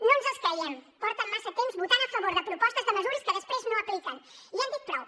no ens els creiem porten massa temps votant a favor de propostes de mesures que després no apliquen i hem dit prou